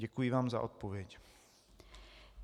Děkuji vám za odpověď.